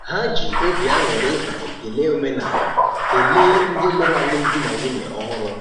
Ha ji obi aṅụrị na ekele omenaala kelee ndị lụrụ alụmdi na nwunye ọhụrụ.